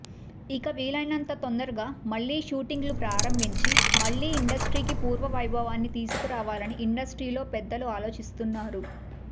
ఇక వీలైనంత తొందరగా మళ్లీ షూటింగ్లు ప్రారంభించి మళ్ళీ ఇండస్ట్రీకి పూర్వ వైభవాన్ని తీసుకురావాలని ఇండస్ట్రీలోని పెద్దలు ఆలోచిస్తున్నారు